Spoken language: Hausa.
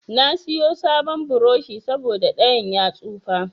Na siyo sabon burushi saboda ɗayan ya tsufa.